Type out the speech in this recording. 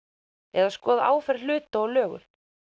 eða skoða áferð hluta og lögun